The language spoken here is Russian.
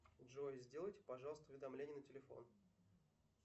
джой сделайте пожалуйста уведомление на телефон